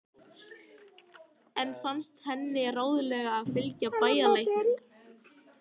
Enn fannst henni ráðlegast að fylgja bæjarlæknum.